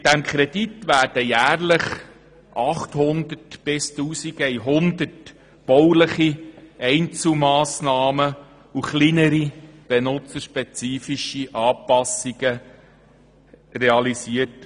Mit diesem Kredit werden jährlich 800 bis 1100 bauliche Einzelmassnahmen und kleinere, benutzerspezifische Anpassungen realisiert.